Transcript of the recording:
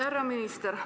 Härra minister!